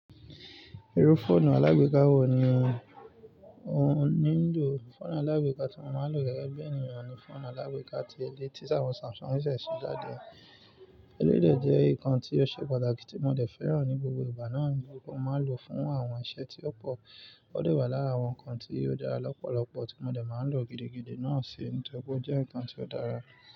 Irú fọ́ọ̀nù alágbèéká wo ni ò ń lò? Fọ́ọ̀nù alágbèéká tí mo máa ń lò gẹ́gẹ́ bí ènìyàn ni fọ́ọ̀nù alágbèéká ti elé tí Samsung ṣẹ̀ ṣẹ̀ jáde. Elédè jẹ́ nǹkan tí ó ṣe pàtàkì tí mo dẹ̀ fẹ́ràn ní gbogbo ìgbà náà ni kí mo n máa lò fún àwọn iṣẹ́ tí ó pọ̀. Ó de wà lára àwọn ǹkan tí ó dára lọ́pọ̀lọpọ̀ tí mo dẹ̀ máa ń lò gidigidi náà ṣe ní tọ̀ri pé ó jẹ́ ǹkan tí ó dára.